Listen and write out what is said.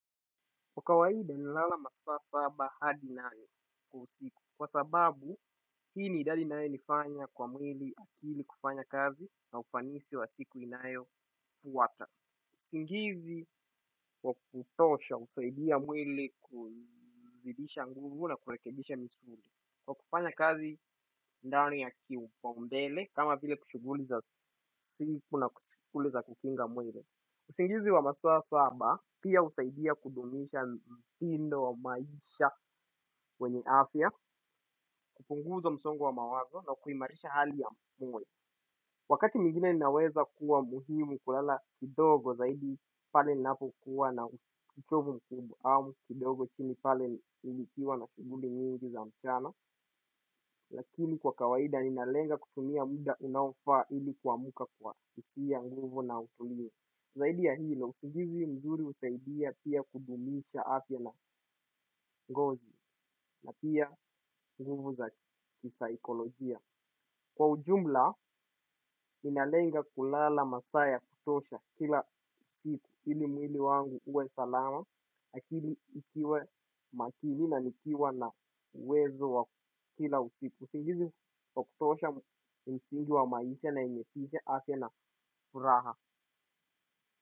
Kwa kawaida nalala masaa saba hadi nane kwa usiku. Kwa sababu, hii ni idadi inaye nifanya kwa mwili akili kufanya kazi na ufanisi wa siku inayofwata. Usingizi, wakukutosha, husaidia mwili kuzidisha nguvu na kurekebisha misuli. Kwa kufanya kazi ndani ya kipaumbele, kama vile shughuguli za siku na shughuli za kukinga mwili. Usingizi wa masaa saba pia husaidia kudumisha mtindo wa maisha wenye afya kupunguza msongo wa mawazo na kuimarisha hali ya moyo. Wakati mwingine naweza kuwa muhimu kulala kidogo zaidi pale ninapokuwa na uchovu mkubwa au kidogo chini pale nikiwa na shughuli nyingi za mchana. Lakini kwa kawaida ninalenga kutumia muda unaofaa ili kuamka kwa hisia ya nguvu na utulivu. Zahidi ya hilo usingizi mzuri husaidia pia kudumisha afya na ngozi na pia nguvu za kisaikolojia. Kwa ujumla, ninalenga kulala masaa ya kutosha kila siku. Ili mwili wangu uwe salama, akili iwe makini na nikiwa na uwezo wa kila usiku. Usingizi wa kutosha ni msingi wa maisha na yenye tishe afya na furaha.